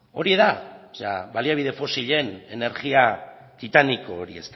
hori da baliabide fosilen energia titaniko hori